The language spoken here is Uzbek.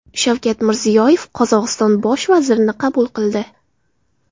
Shavkat Mirziyoyev Qozog‘iston Bosh vazirini qabul qildi.